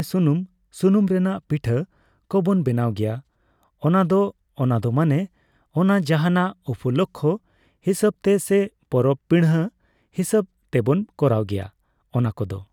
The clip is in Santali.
ᱥᱩᱱᱩᱢ, ᱥᱩᱱᱩᱢ ᱨᱮᱱᱟᱝ ᱯᱤᱴᱷᱟᱹ ᱠᱚᱵᱚᱱ ᱵᱮᱱᱟᱣ ᱜᱮᱭᱟ ᱚᱱᱟ ᱫᱚ᱾ ᱚᱱᱟ ᱫᱚ ᱢᱟᱱᱮ ᱚᱱᱟ ᱡᱟᱦᱟᱸᱱᱟᱜ ᱩᱯᱚᱞᱚᱠᱠᱷᱚ ᱦᱤᱥᱟᱹᱵ ᱛᱮ ᱥᱮ ᱯᱚᱨᱚᱵ ᱯᱤᱬᱦᱟᱹ ᱦᱤᱥᱟᱹᱵ ᱛᱮᱵᱚᱱ ᱠᱚᱨᱟᱣ ᱜᱮᱭᱟ ᱚᱱᱟ ᱠᱚᱫᱚ᱾